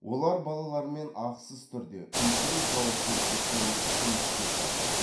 олар балалармен ақысыз түрде үлкен жауапкершілікпен жұмыс істеп жатыр